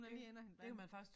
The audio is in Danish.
Hun er lige inde og hente vand